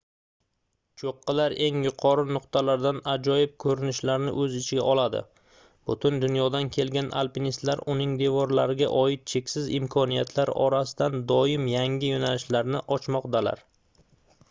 choʻqqilar eng yuqori nuqtalardan ajoyib koʻrinishlarni oʻz ichiga oladi butun dunyodan kelgan alpinistlar uning devorlariga oid cheksiz imkoniyatlar orasidan doim yangi yoʻnalishlarni ochmoqdalar